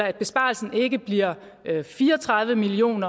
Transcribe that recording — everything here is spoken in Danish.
at besparelsen ikke bliver fire og tredive million